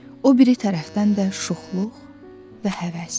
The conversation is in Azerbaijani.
O biri tərəfdən də şuxluq və həvəs.